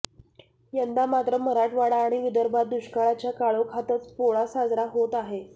यंदा मात्र मराठवाडा आणि विदर्भात दुष्काळाच्या काळोखातच पोळा साजरा होत आहे